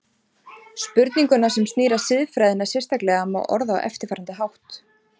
Spurninguna sem snýr að siðfræðinni sérstaklega má orða á eftirfarandi hátt